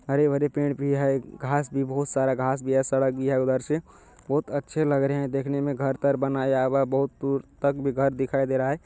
हरे-भरे पेड़ भी है घास भी बहुत सारा घास भी है सड़क भी है उधर से | बहुत अच्छे लग रहे हैं देखने में घर-तर बनाया हुआ है बहुत दूर तक भी घर दिखाई दे रहा है।